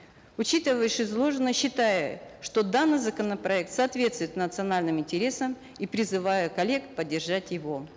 учитывая вышеизложенное считаю что данный законопроект соответствует национальным интересам и призываю коллег поддержать его